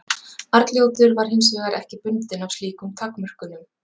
arnljótur var hins vegar ekki bundinn af slíkum takmörkunum